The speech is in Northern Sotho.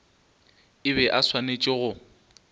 e be e swanetše go